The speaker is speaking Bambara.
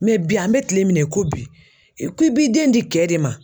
bi an bɛ kile minɛ i ko bi, i ko i b'i den di kɛ de ma.